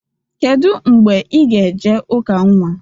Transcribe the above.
Kedụ mgbe ị ga e je ụka nnwa?